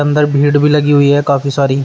इधर भीड़ भी लगी हुई है काफी सारी।